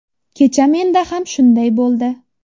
Kecha menda ham shunday bo‘ldi.